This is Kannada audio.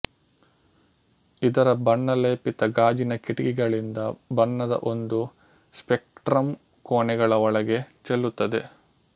ಇದರ ಬಣ್ಣ ಲೇಪಿತ ಗಾಜಿನ ಕಿಟಕಿಗಳಿಂದ ಬಣ್ಣದ ಒಂದು ಸ್ಪೆಕ್ಟ್ರಮ್ ಕೋಣೆಗಳ ಒಳಗೆ ಚೆಲ್ಲುತ್ತದೆ